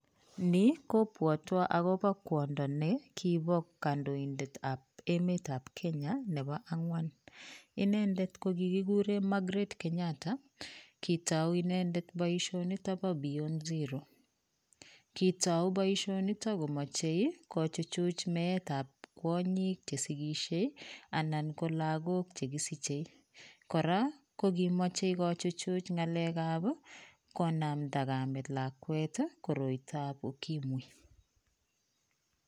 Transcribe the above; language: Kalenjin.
Ni kobwotwo akopo kwondo nekipo kandoindetap emetap Kenya nepo ang'wan. Inendet ko kikikure Margaret Kenyatta, kitou inendet boisionito po beyond zero. Kitou boisionito komoche kochuchuch meetap kwonyik chesikishe anan ko lagok chekisiche. Kora, kokimoche kochuchuch ng'alekap konamda kamet lakwet koroitoap ukimwi.